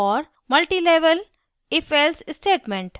multilevel ifelse statement